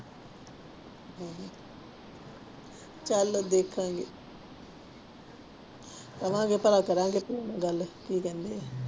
ਚੱਲ ਦੇਖਾਂਗੇ ਕਵਾਂਗੇ ਭਲਾ ਕਰੇਂਗਾ ਪਿਓ ਨਾਲ ਗੱਲ ਕੀ ਕਹਿੰਦੇ ਆ।